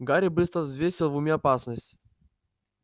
гарри быстро взвесил в уме опасность